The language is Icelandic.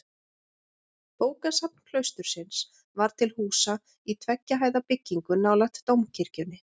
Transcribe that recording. Bókasafn klaustursins var til húsa í tveggja hæða byggingu nálægt dómkirkjunni.